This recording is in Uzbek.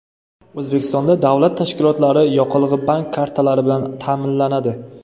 O‘zbekistonda davlat tashkilotlari yoqilg‘i bank kartalari bilan ta’minlanadi.